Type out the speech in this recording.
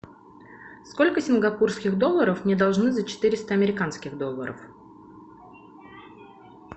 сколько сингапурских долларов мне должны за четыреста американских долларов